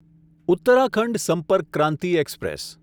Uttarakhand Sampark Kranti express